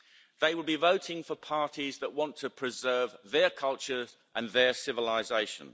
They will be voting for parties that want to preserve their cultures and their civilisation.